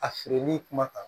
A feereli kumakan